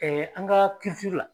an ka la.